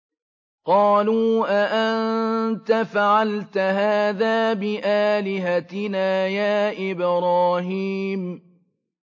قَالُوا أَأَنتَ فَعَلْتَ هَٰذَا بِآلِهَتِنَا يَا إِبْرَاهِيمُ